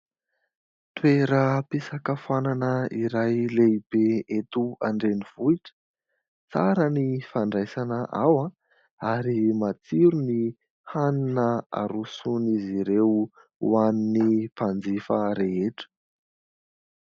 Toeram-pisakafoanana iray lehibe eto andrenivohitra. Tsara ny fandraisana ao ary matsiro ny hanina aroson'izy ireo ho an'ny mpanjifa rehetra.